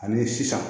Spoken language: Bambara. Ani sisan